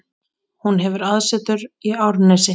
Hún hefur aðsetur í Árnesi.